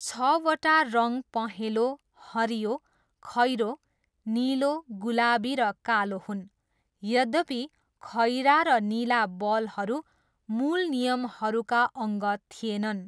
छवटा रङ पहेँलो, हरियो, खैरो, निलो, गुलाबी र कालो हुन्, यद्यपि खैरा र निला बलहरू मूल नियमहरूका अङ्ग थिएनन्।